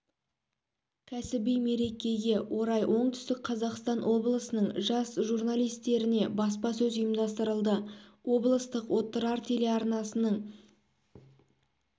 кәсіби мерекеге орай оңтүстік қазақстан облысының жас журналисттеріне баспасөз ұйымдастырылды облыстық отырар телеарнасының на самом деле